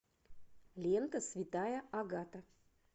лента святая агата